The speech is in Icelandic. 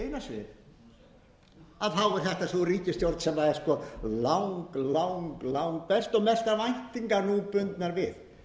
þá er þetta sú ríkisstjórn sem er sko lang lang langbest og mestar væntingar nú bundnar við